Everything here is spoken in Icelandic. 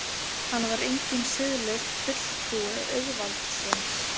Hann var enginn siðlaus fulltrúi auðvaldsins.